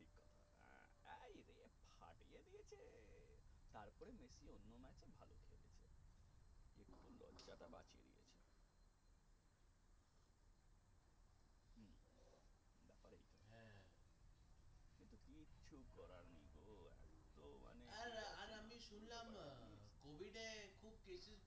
আমার আমি শুনলাম COVID এ